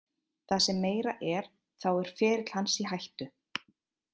Það sem meira er þá er ferill hans í hættu.